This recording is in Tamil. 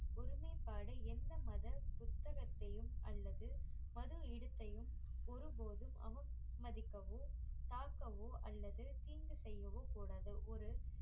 ஒருமைப்பாடு எந்த மத புத்தகத்தையும் அல்லது மது இடுத்தையும் ஒரு போதும் அவமதிக்கவோ தாக்கவோ அல்லது தீங்கு செய்யவோ கூடாது ஒரு